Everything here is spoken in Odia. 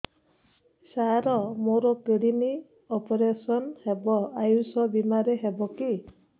ସାର ମୋର କିଡ଼ନୀ ଅପେରସନ ହେବ ଆୟୁଷ ବିମାରେ ହେବ କି